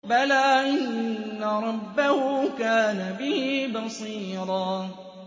بَلَىٰ إِنَّ رَبَّهُ كَانَ بِهِ بَصِيرًا